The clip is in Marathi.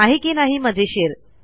आहे की नाही मजेशीर